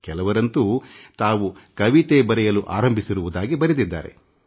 ಕೆಲವರಂತೂ ತಾವು ಈಗ ಕವಿತೆ ಬರೆಯಲು ಆರಂಭಿಸಿರುವುದಾಗಿ ತಿಳಿಸಿದ್ದಾರೆ